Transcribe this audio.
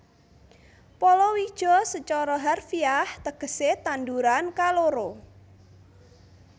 Palawija sacara harfiah tegesé tanduran kaloro